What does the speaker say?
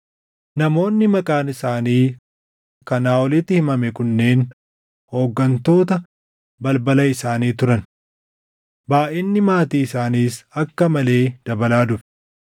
Namoonni maqaan isaanii kanaa olitti himame kunneen hooggantoota balbala isaanii turan. Baayʼinni maatii isaaniis akka malee dabalaa dhufe;